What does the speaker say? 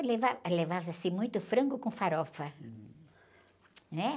Levava, levava-se muito frango com farofa, né?